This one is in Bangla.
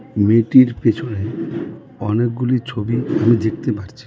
মেয়েটির পেছনে অনেকগুলি ছবি আমি দেখতে পারছি।